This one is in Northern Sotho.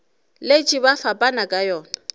letše ba fapana ka yona